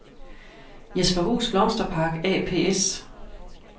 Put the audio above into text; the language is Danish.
Jesperhus Blomsterpark ApS